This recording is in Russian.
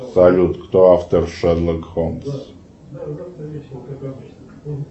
салют кто автор шерлок холмс